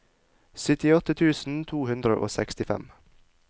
syttiåtte tusen to hundre og sekstifem